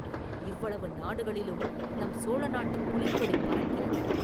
இவ்வளவு நாடுகளிலும் நம் சோழ நாட்டுப் புலிக்கொடி பறக்கிறது.